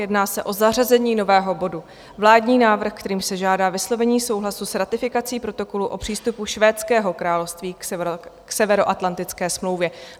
Jedná se o zařazení nového bodu - Vládní návrh, kterým se žádá vyslovení souhlasu s ratifikací Protokolu o přístupu Švédského království k Severoatlantické smlouvě.